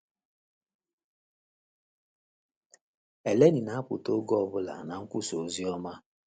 Eleni na-apụta oge ọbụla na nkwusa oziọma